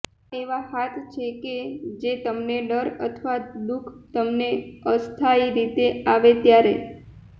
આ એવા હાથ છે કે જે તમને ડર અથવા દુઃખ તમને અસ્થાયી રીતે આવે ત્યારે